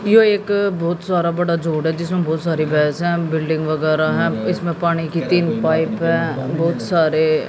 यो एक बहोत सारा बड़ा जोड़ है जिसमें बहोत सारी भैंसे हैं बिल्डिंग वगैरा है इसमें पानी की तीन पाइप है बहुत सारे--